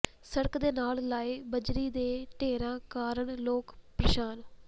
ਸੜਕ ਦੇ ਨਾਲ ਲਾਏ ਬਜਰੀ ਦੇ ਢੇਰਾਂ ਕਾਰਨ ਲੋਕ ਪ੍ਰੇਸ਼ਾਨ